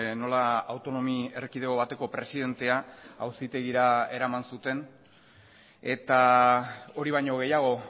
nola autonomi erkidego bateko presidentea auzitegira eraman zuten eta hori baino gehiago